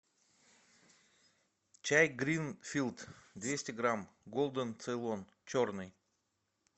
чай гринфилд двести грамм голден цейлон черный